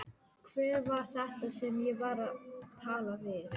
Hver var þetta sem ég var að tala við?